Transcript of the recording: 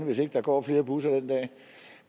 hvis ikke der går flere busser